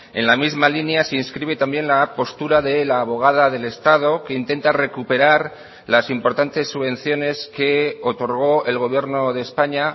en la misma línea se inscribe también la postura de la abogada del estado que intenta recuperar las importantes subvenciones que otorgó el gobierno de españa